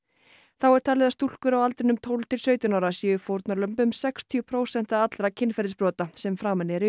þá er talið að stúlkur á aldrinum tólf til sautján ára séu fórnarlömb um sextíu prósent allra kynferðisbrota sem framin eru í